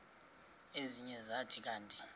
ezinye zathi kanti